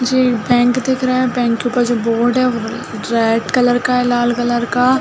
मुझे एक बैंक दिख रहा है बैंक के ऊपर जो बोर्ड है व रैड कलर का है लाल कलर का।